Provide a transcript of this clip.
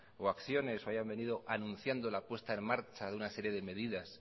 o acciones o hayan venido anunciando la puesta en marcha de una serie de medidas